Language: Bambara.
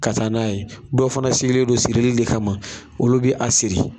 Ka taa n'a ye dɔw fana sigilen don sirili de kama olu be a siri